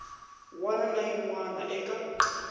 wana na yin wana eka